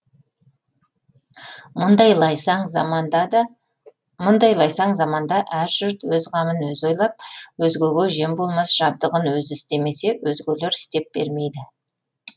мұндай лайсаң заманда да мұндай лайсаң заманда әр жұрт өз қамын өзі ойлап өзгеге жем болмас жабдығын өзі істемесе өзгелер істеп бермейді